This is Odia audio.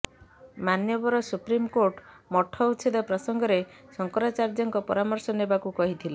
ମାନ୍ୟବର ସୁପ୍ରିମକୋର୍ଟ ମଠ ଉଚ୍ଛେଦ ପ୍ରସଙ୍ଗରେ ଶଙ୍କରାଚାର୍ଯ୍ୟଙ୍କ ପରାମର୍ଶ ନେବାକୁ କହିଥିଲେ